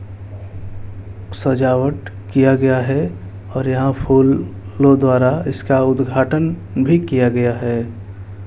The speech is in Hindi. सजावट किया गया है और यहां फूलों द्वारा इसका उद्घाटन भी किया गया है।